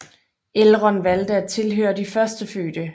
Elrond valgte at tilhøre de Førstefødte